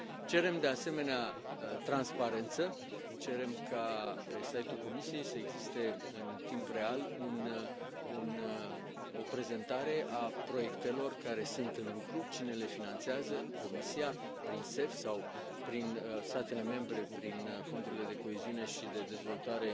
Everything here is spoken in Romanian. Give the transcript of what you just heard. Cerem, de asemenea, transparență, cerem ca pe site ul Comisiei să existe în timp real o prezentare a proiectelor care sunt în lucru cine le finanțează Comisia prin CEF sau statele membre prin fondurile de coeziune și de dezvoltare